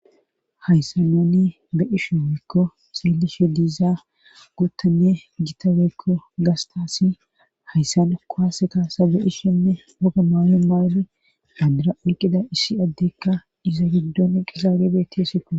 hayssanani be ishe weekko seelishe diizaa guttanne jitabeekko gastasi hayssana kohaase kaasa beishinne oga maayo maayri adira oqida issi addekka iza gidduniqqizaare bettisiko